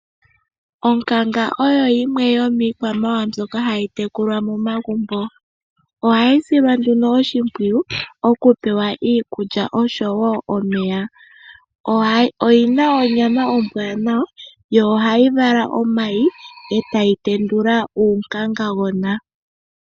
Onkanga oyo yimwe yomiikwamawawa mbyoka hayi tekulwa momagumbo. Ohayi silwa nduno oshimpwiyu okupewa iikulya osho wo omeya. Oyi na onyama ombwaanawa yo ohayi vala omayi e tayi tendula uunkangagona.